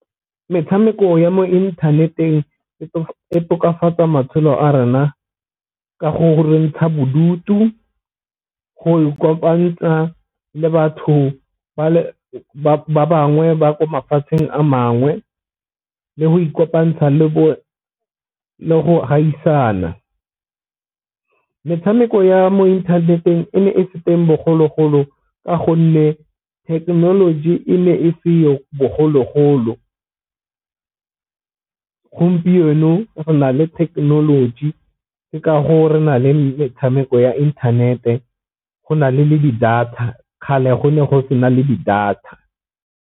Metshameko ya mo inthaneteng e tokafatsa matshelo a rena ka go ntsha bodutu, go ikopantsha le batho ba bangwe ba ko mafatsheng a mangwe, le go ikopantsha le go gaisana. Metshameko ya mo inthaneteng e ne e se teng bogologolo ka gonne thekenoloji e ne e seo bogologolo, gompieno go na le thekenoloji ke ka foo re na le metshameko ya inthanete go na le le di-data kgale go ne go se na le di-data.